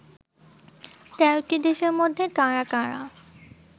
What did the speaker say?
১৩টি দেশের মধ্যে কারা কারা